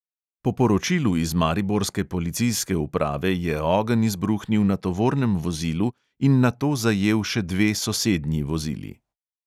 Po poročilu iz mariborske policijske uprave je ogenj izbruhnil na tovornem vozilu in nato zajel še dve sosednji vozili.